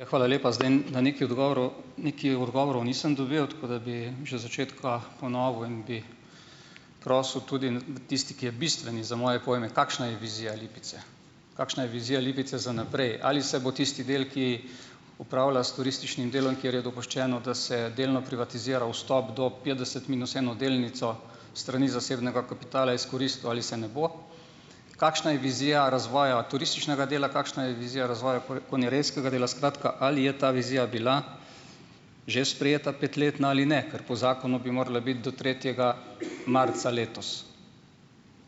Hvala lepa. Zdaj na nekaj odgovorov nekaj odgovorov nisem dobil, tako da bi že od začetka ponovil in bi prosil tudi tisti, ki je bistveni za moje pojme, kakšna je vizija Lipice, kakšna je vizija Lipice za naprej. Ali se bo tisti del, ki upravlja s turističnim delom, kjer je dopuščeno, da se delno privatizira vstop do petdeset minus eno delnico s strani zasebnega kapitala, izkoristil, ali se ne bo? Kakšna je vizija razvoja turističnega dela? Kakšna je vizija razvoja konjerejskega dela? Skratka, ali je ta vizija bila že sprejeta petletna ali ne, ker po zakonu bi morala biti do tretjega marca letos.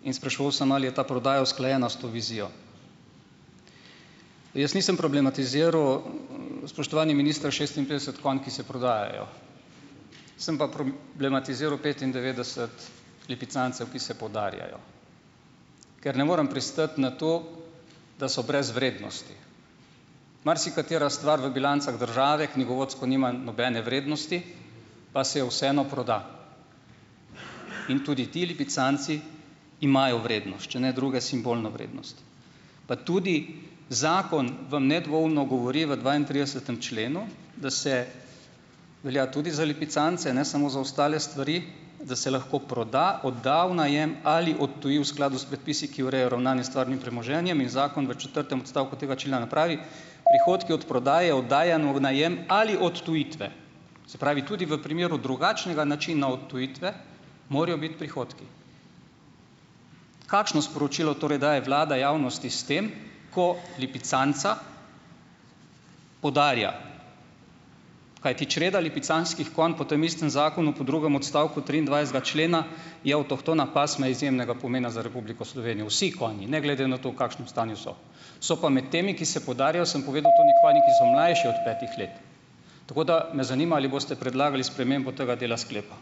In spraševal sem, ali je ta prodaja usklajena s to vizijo. Jaz nisem problematiziral, spoštovani minister, šestinpetdeset konj, ki se prodajajo. Sem pa blematiziru petindevetdeset lipicancev, ki se podarjajo, ker ne morem pristati na to, da so brez vrednosti. Marsikatera stvar v bilancah države knjigovodsko nima nobene vrednosti, pa se jo vseeno proda. In tudi ti lipicanci imajo vrednost, če ne druge, simbolno vrednost. Pa tudi zakon vam nedvoumno govori v dvaintridesetem členu, da se, velja tudi za lipicance, ne samo za ostale stvari, da se lahko proda, odda v najem ali odtuji v skladu s predpisi, ki ureja ravnanje s stvarnim premoženjem. In zakon v četrtem odstavku tega člena pravi: "Prihodki od prodaje, oddajanj v najem ali odtujitve." Se pravi, tudi v primeru drugačnega načina odtujitve morajo biti prihodki. Kakšno sporočilo torej daje vlada javnosti s tem, ko lipicanca podarja, kajti čreda lipicanskih konj po tem istem zakonu po drugem odstavku triindvajsetega člena je avtohtona pasma izjemnega pomena za Republiko Slovenijo, vsi konji ne glede na to, v kakšnem stanju so. So pa med temi, ki se podarjajo, sem povedal, tudi konji, ki so mlajši od petih let. Tako da me zanima, ali boste predlagali spremembo tega dela sklepa.